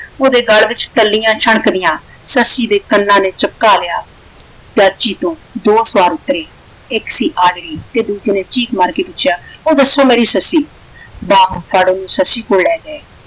ਓਹਦੇ ਗੱਲ ਵਿੱਚ ਟੱਲੀਆਂ ਛਣਕਦੀਆਂ ਸੱਸੀ ਦੇ ਕੰਨਾਂ ਨੇ ਚਪਕਾ ਲਿਆ। ਡਾਚੀ ਤੋਂ ਦੋ ਸਵਾਰ ਉਤਰੇ ਇਕ ਸੀ ਆਜੜੀ ਤੇ ਦੂਸਰੇ ਨੇ ਚੀਕ ਮਾਰ ਕੇ ਪੁੱਛਿਆ ਉਹ ਦੱਸੋ ਮੇਰੀ ਸੱਸੀ ਬਾਹੋਂ ਫੜ ਸੱਸੀ ਕੋਲ ਲੈ ਗਏ।